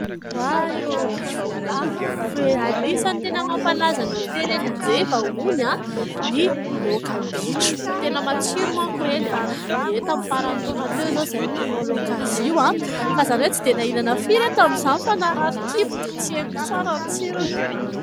Oay o ! Bitro voalavo e ! Anisan'ny tena mampalaza ny hotely eny Anjeva hono ny laoka bitro, tena matsiro manko ireny. Ie ! Tamin'ny faran'ny taona teo izao izahay no nanao laoka azy io fa izany hoe tsy dia nahahinana firy aho tamin'izany fa narary kibo dia tsy henoko tsara ny tsirony.